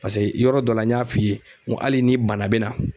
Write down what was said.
Paseke yɔrɔ dɔ la n y'a f'i ye n ko hali ni bana bɛ na